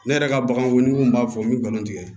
Ne yɛrɛ ka baganw ni mun b'a fɔ n bɛ nkalon tigɛ